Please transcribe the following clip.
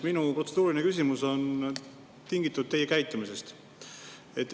Minu protseduuriline küsimus on tingitud teie käitumisest.